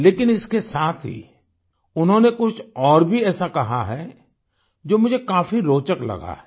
लेकिन इसके साथ ही उन्होंने कुछ और भी ऐसा कहा है जो मुझे काफी रोचक लगा है